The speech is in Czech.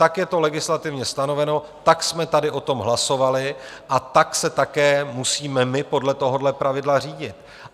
Tak je to legislativně stanoveno, tak jsme tady o tom hlasovali a pak se také musíme my podle tohoto pravidla řídit.